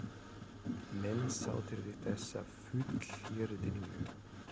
Menn sáttir við þessa fullyrðingu?